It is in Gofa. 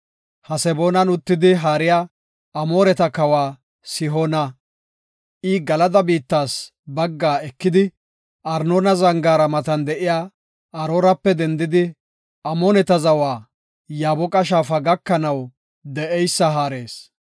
Haseboonan uttidi haariya Amooreta kawa Sihoona. I Galada biittas baggaa ekidi, Arnoona zangaara matan de7iya Aroorape dendidi, Amooneta zawa Yaaboqa shaafa gakanaw de7eysa haarees.